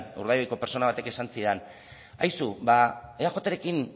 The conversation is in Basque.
urdaibaiko pertsona batek esan zidan aizu eajrekin